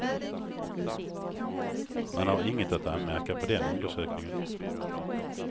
Man har inget att anmärka på den undersökningen.